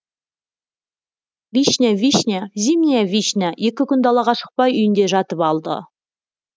вишня вишня зимняя вишня екі күн далаға шықпай үйінде жатып алды